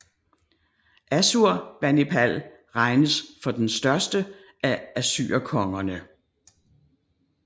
Assurbanipal regnes for den største af assyrerkongerne